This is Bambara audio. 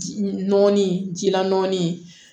Ji nɔɔni jilaɔnin